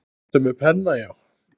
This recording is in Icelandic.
Ertu með penna, já.